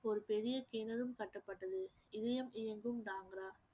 ஒரு பெரிய கிணறும் கட்டபட்டது இதயம் இயங்கும்